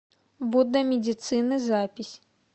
будда медицины запись